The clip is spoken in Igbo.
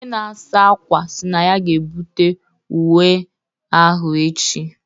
Onye na-asa ákwà sị na ya ga-ebute uwe ahụ echi.